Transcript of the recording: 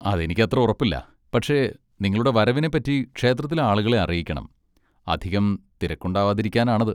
അതെനിക്കത്ര ഉറപ്പില്ല, പക്ഷെ നിങ്ങളുടെ വരവിനെ പറ്റി ക്ഷേത്രത്തിലെ ആളുകളെ അറിയിക്കണം, അധികം തിരക്കുണ്ടാവാതിരിക്കാനാണത്.